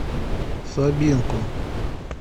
собинку